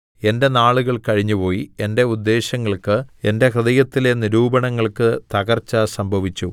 എന്റെ നാളുകൾ കഴിഞ്ഞുപോയി എന്റെ ഉദ്ദേശ്യങ്ങൾക്ക് എന്റെ ഹൃദയത്തിലെ നിരൂപണങ്ങൾക്ക് തകർച്ച സംഭവിച്ചു